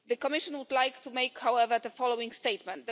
The Commission would like to make, however, the following statement.